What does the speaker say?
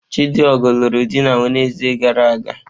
Chidigo lụrụ di na Wenezde gara aga.